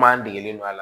M'a degelen do a la